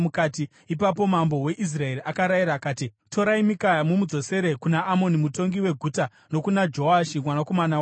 Ipapo mambo weIsraeri akarayira akati, “Torai Mikaya mumudzosere kuna Amoni mutongi weguta nokuna Joashi mwanakomana wamambo